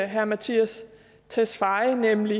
herre mattias tesfaye nemlig